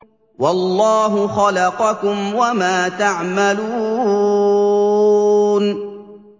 وَاللَّهُ خَلَقَكُمْ وَمَا تَعْمَلُونَ